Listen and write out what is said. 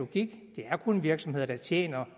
det kun virksomheder der tjener